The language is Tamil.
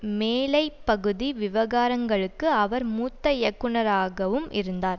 மேலைப் பகுதி விவகாரங்களுக்கு அவர் மூத்த இயக்குனராகவும் இருந்தார்